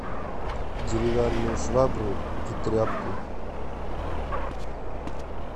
деревянную швабру и тряпку